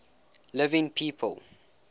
living people